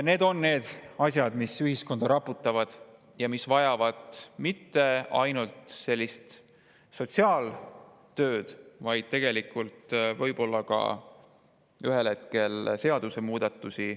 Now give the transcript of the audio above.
Need on need asjad, mis ühiskonda raputavad ja mis vajavad mitte ainult sotsiaaltööd, vaid võib-olla ühel hetkel ka seadusemuudatusi.